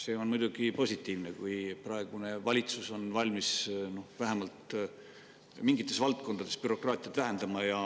See on muidugi positiivne, kui praegune valitsus on valmis vähemalt mingites valdkondades bürokraatiat vähendama.